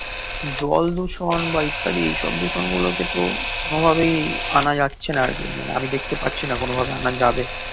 জল দূষণ বা ইত্যাদি এই সব দূষণ গুলো কে তো কোনোভাবেই আনা যাচ্ছে না আর কি আমি দেখতে পাচ্ছি না কোনোভাবে আনা যাবে